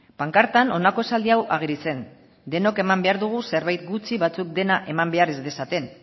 pankartan honako esaldi hau ageri zen denok eman behar dugu zerbait gutxi batzuk dena eman behar ez dezaten